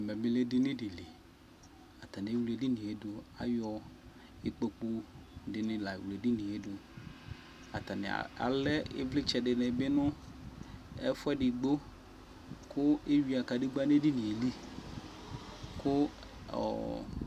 ɛmɛ bi lɛ edini di li atani ewle edinie do ayɔ ikpoku di ni la wle edinie do atani alɛ ivlitsɛ di ni bi no ɛfo edigbo ko ewia kadegba no edinie li ko